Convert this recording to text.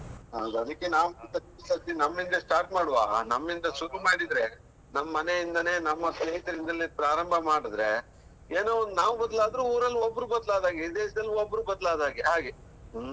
ಹೌದು ಅದಿಕ್ಕೆ ನಾವು ನಮ್ಮಿಂದ್ಲ್ start ಮಾಡುವ ನಮ್ಮಿಂದ್ಲ್ ಶುರು ಮಾಡಿದ್ರೆ ನಮ್ಮ್ ಮನೆಯಿಂದನೆ, ನಮ್ಮ ಸ್ನೇಹಿತರಿಂದಲೆ ಪ್ರಾರಂಭ ಮಾಡಿದ್ರೆ, ಏನೋ ಒಂದು ನಾವು ಬದಲಾದ್ರು ಊರಲ್ಲೊಬ್ರು ಬದ್ಲಾದ ಹಾಗೆ, ಇಡಿ ದೇಶದಲ್ಲಿ ಒಬ್ರು ಬದ್ಲಾದಹಾಗೆ, ಹಾಗೆ. ಹ್ಮ್